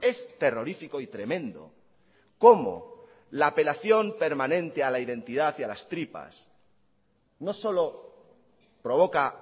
es terrorífico y tremendo cómo la apelación permanente a la identidad y a las tripas no solo provoca